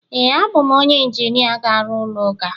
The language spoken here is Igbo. ee, abụ m onye injinia ga-arụ ụlọ ụka